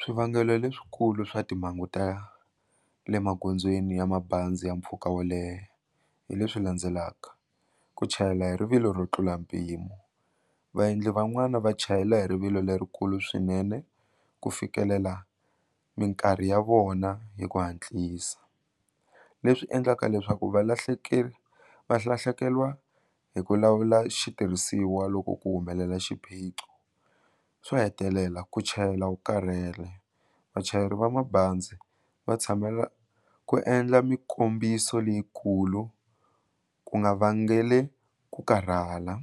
Swivangelo leswikulu swa timhangu ta le magondzweni ya mabazi ya mpfhuka wo leha hi leswi landzelaka ku chayela hi rivilo ro tlula mpimo vaendli van'wana va chayela hi rivilo lerikulu swinene ku fikelela mikarhi ya vona hi ku hatlisa leswi endlaka leswaku valahlekeriwa valahlekeriwa hi ku lawula xitirhisiwa loko ku humelela xiphiqo swo hetelela ku chayela wu karhele vachayeri va mabazi va tshamela ku endla mikombiso leyikulu ku nga vangeli ku karhala